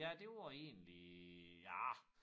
Ja det var egentlig ah